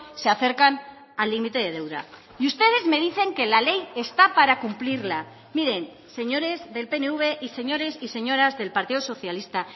se acercan al límite de deuda y ustedes me dicen que la ley está para cumplirla miren señores del pnv y señores y señoras del partido socialista